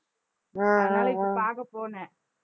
அதனால இப்ப பாக்க போனேன்